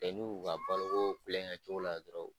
N'u y'u ka balo kokulonkɛ cogo la dɔrɔn